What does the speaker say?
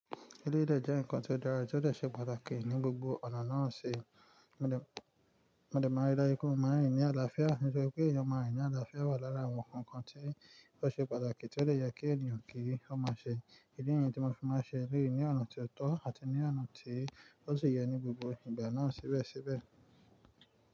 Eléyìí de jẹ́ nǹkan tó dára tí ó de ṣe pàtàkì ní gbogbo ọ̀nà náà ṣe. Mo de máa rí dájú pé ọmọ rin ni àlàáfíà, nitori pé èèyàn ma rín ni àlàáfíà wà lára àwọn nkankan tí ó ṣe pàtàkì tí ó lè yẹ kí èèyàn kí í ó máa ṣe. Idi niyen tí mo fẹ́ máa ṣe léyìí ní ọ̀nà tó tọ́ àti ní ọ̀nà tí ó sì yẹ ní gbogbo ìgbà náà síbẹ̀síbẹ̀